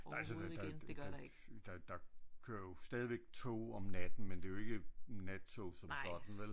Altså der der kører jo stadigvæk toge om natten men det er jo ikke nattog som sådan vel øh så øh ja